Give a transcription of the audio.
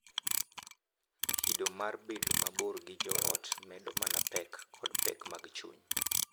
Kido mar bedo mabor gi joot medo mana pek kod pek mag chuny,